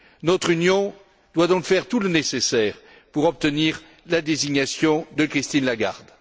Notre Union doit donc faire tout le nécessaire pour obtenir la désignation de Christine Lagarde.